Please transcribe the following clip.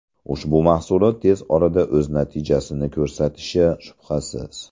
Ushbu mahsulot tez orada o‘z natijasini ko‘rsatishi shubhasiz.